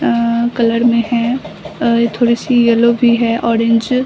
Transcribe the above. अ colour में हैं। अ ये थोड़ी सी येलो भी है ऑरेंज --